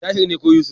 Tahir ne ko Yusuf.